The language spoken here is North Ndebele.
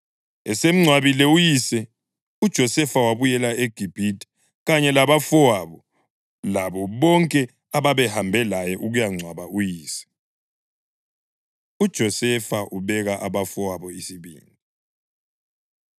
Esemngcwabile uyise uJosefa wabuyela eGibhithe kanye labafowabo labo bonke ababehambe laye ukuyangcwaba uyise. UJosefa Ubeka Abafowabo Isibindi